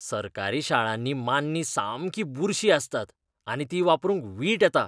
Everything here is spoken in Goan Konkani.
सरकारी शाळांनी मान्नीं सामकीं बुरशीं आसतात आनी तीं वापरूंक वीट येता.